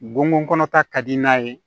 Gongon kɔnɔ ta ka di n'a ye